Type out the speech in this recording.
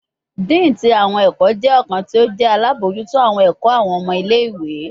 Dean ti awọn ẹkọ jẹ ọkan ti o jẹ alabojuto awọn ẹkọ awọn ọmọ ile-iwe